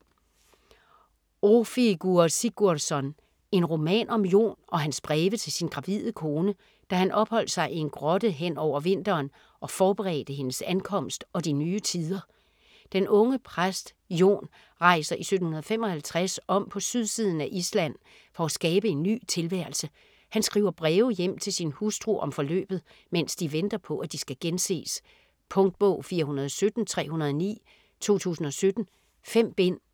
Ófeigur Sigurðsson: En roman om Jon og hans breve til sin gravide kone, da han opholdt sig i en grotte hen over vinteren og forberedte hendes ankomst og de nye tider Den unge præst Jon rejser i 1755 om på sydsiden af Island for at skabe en ny tilværelse. Han skriver breve hjem til sin hustru om forløbet, mens de venter på, at de skal genses. Punktbog 417309 2017. 5 bind.